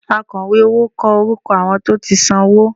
Àkọ̀wé owó kọ orúkọ àwọn tó ti san owó